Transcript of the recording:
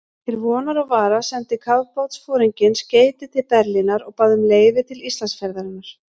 Til vonar og vara sendi kafbátsforinginn skeyti til Berlínar og bað um leyfi til Íslandsferðarinnar.